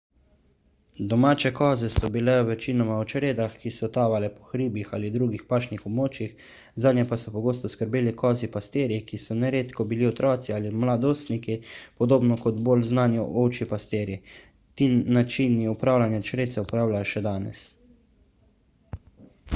domače koze so bile večinoma v čredah ki so tavale po hribih ali drugih pašnih območjih zanje pa so pogosto skrbeli kozji pastirji ki so neredko bili otroci ali mladostniki podobno kot bolj znani ovčji pastirji ti načini upravljanja čred se uporabljajo še danes